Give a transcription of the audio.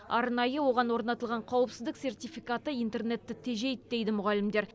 арнайы оған орнатылған қауіпсіздік сертификаты интернетті тежейді дейді мұғалімдер